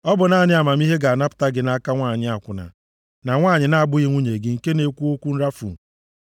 Ọ bụ naanị amamihe ga-anapụta gị nʼaka nwanyị akwụna, na nwanyị na-abụghị nwunye gị nke na-ekwu okwu nrafu.